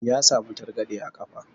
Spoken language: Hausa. Ya samu targaɗe a ƙafa.